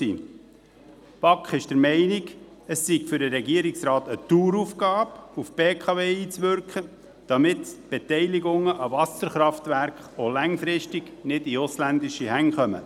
Die BaK ist der Meinung, es sei eine Daueraufgabe des Regierungsrates, auf die BKW AG einzuwirken, damit die Beteiligungen an Wasserkraftwerken auch langfristig nicht in ausländische Hände geraten.